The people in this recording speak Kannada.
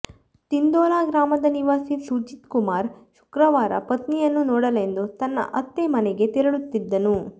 ತಿಂದೋಲಾ ಗ್ರಾಮದ ನಿವಾಸಿ ಸುಜಿತ್ ಕುಮಾರ್ ಶುಕ್ರವಾರ ಪತ್ನಿಯನ್ನು ನೋಡಲೆಂದು ತನ್ನ ಅತ್ತೆ ಮನೆಗೆ ತೆರಳುತ್ತಿದ್ದನು